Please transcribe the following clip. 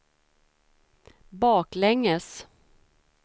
baklänges